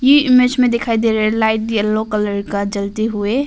ये इमेज में दिखाई दे रहा है लाइट येलो कलर का जलते हुए।